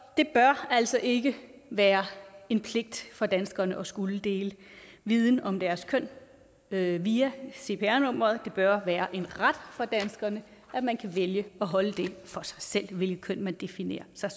det bør altså ikke være en pligt for danskerne at skulle dele viden om deres køn via via cpr nummeret det bør være en ret for danskerne at man kan vælge at holde for sig selv hvilket køn man definerer sig